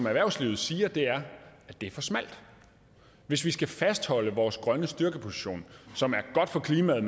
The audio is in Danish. erhvervslivet siger er at det er for smalt hvis vi skal fastholde vores grønne styrkeposition som er godt for klimaet